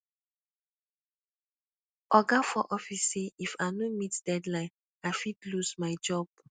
oga for office say if i no meet deadline i fit lose my job